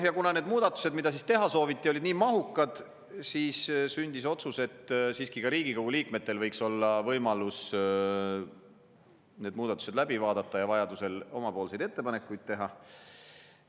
Ja kuna need muudatused, mida siis teha sooviti, olid nii mahukad, siis sündis otsus, et siiski ka Riigikogu liikmetel võiks olla võimalus need muudatused läbi vaadata ja vajadusel omapoolseid ettepanekuid teha.